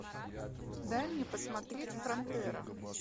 дай мне посмотреть фронтера